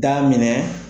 Daminɛ